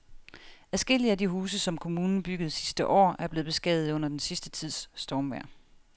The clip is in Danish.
Adskillige af de huse, som kommunen byggede sidste år, er blevet beskadiget under den sidste tids stormvejr.